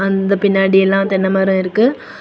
அந்த பின்னாடி எல்லாம் தென்ன மரம் இருக்கு.